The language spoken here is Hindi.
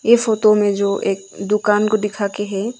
ई फोटो में जो एक दुकान को दिखा के है।